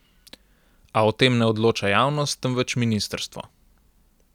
A o tem ne odloča javnost, temveč ministrstvo.